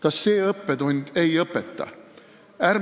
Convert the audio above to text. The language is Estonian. Kas see õppetund ei õpeta?